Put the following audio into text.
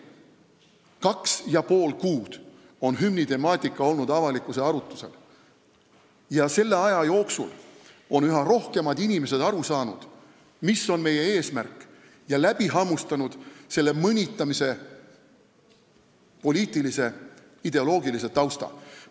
Kaks ja pool kuud on hümnitemaatika olnud avalikkuses arutusel ja selle aja jooksul on üha rohkem inimesi aru saanud, mis on meie eesmärk, ja läbi hammustanud selle mõnitamise poliitilise ja ideoloogilise tausta.